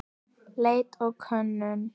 Leit og könnun